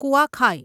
કુઆખાઈ